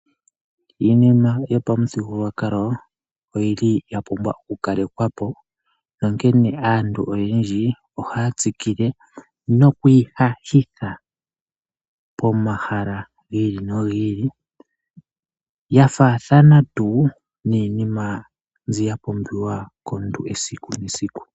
Iinima yopamu thigululwakalo oyili ya pumbwa oku kalekwapo, nonkene aantu oyendji ohaya tsikile noku ihathitha pomahala giili nogiili yafaathana tuu niinima mbiya pumbiwa komuntu esiku nesiku.